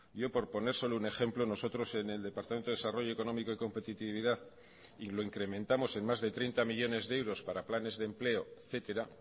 yo por poner solo un ejemplo nosotros en el departamento de desarrollo económico y competitividad y lo incrementamos en más de treinta millónes de euros para planes de empleo etcétera